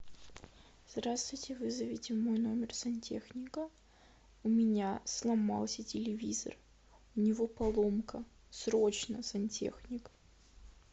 здравствуйте вызовите в мой номер сантехника у меня сломался телевизор у него поломка срочно сантехник